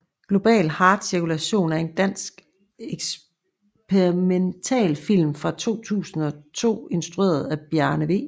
Global Heart Cirkulation er en dansk eksperimentalfilm fra 2002 instrueret af Bjarne v